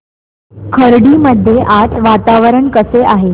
खर्डी मध्ये आज वातावरण कसे आहे